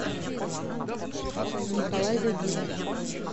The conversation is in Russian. николай загиров